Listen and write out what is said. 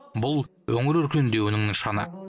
бұл өңір өркендеуінің нышаны